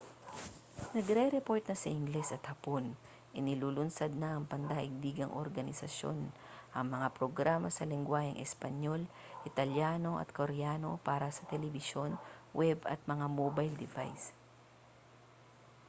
nagrereport na sa ingles at hapon inilulunsad na ng pandaigdigang organisasyon ang mga programa sa lengguwaheng espanyol italyano at koreano para sa telebisyon web at mga mobile device